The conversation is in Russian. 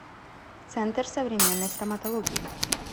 центр современной стоматологии